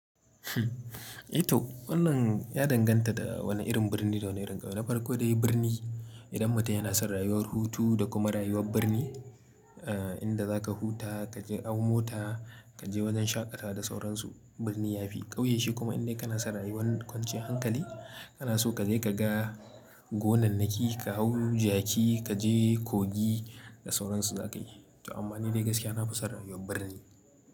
I to wannan ya danganta da wanne irin birni da wane irin ƙauye. Na farko dai birni idan mutum yana son rayuwar hutu da kuma rayuwar birni, inda za ka huta kaje hau mota kaje wajen shaƙatawa da sauran su birni yafi. Ƙauye shi kuma in dai kana son rayuwar kwanciyar hankali kana so ka je ka ga gonannaki ka hau jaki kaje kogi da sauran su za ka yi. To amma ni dai gaskiya na fi son rayuwar birni.